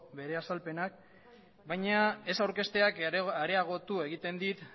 bere azalpenak baina ez aurkezteak areagotu egiten dit